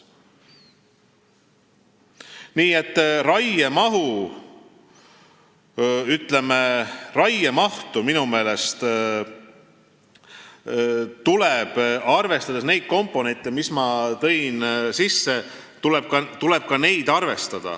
Nii et minu meelest tuleb raiemahu puhul arvestada ka neid komponente, mis ma välja tõin.